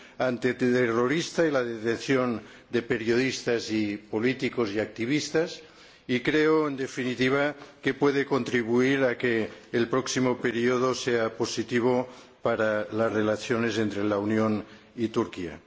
antiterrorista y la detención de periodistas, políticos y activistas. Creo, en definitiva, que puede contribuir a que el próximo período sea positivo para las relaciones entre la Unión y Turquía.